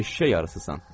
Eşşək arısısan.